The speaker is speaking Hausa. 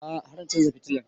A'a har na chanza fitilan